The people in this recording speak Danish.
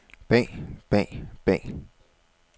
bag bag bag